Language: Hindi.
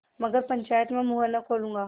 मगर पंचायत में मुँह न खोलूँगा